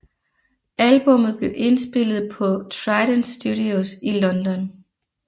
Albummet blev indspillet på Trident Studios i London